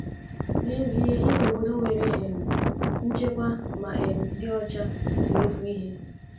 N’ezie, inwe obodo nwere um nchekwa ma um dị ọcha na-efu ihe.